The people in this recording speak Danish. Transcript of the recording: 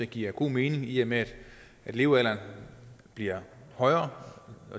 giver god mening i og med at levealderen bliver højere